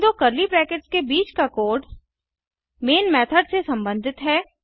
इन दो curly brackets के बीच का कोड़ मैन मेथड से संबंधित है